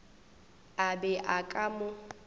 a be a ka mo